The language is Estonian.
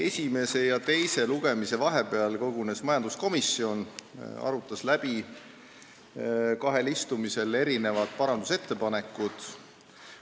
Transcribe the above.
Esimese ja teise lugemise vahepeal kogunes majanduskomisjon, et arutada kahel istungil läbi erinevad parandusettepanekud.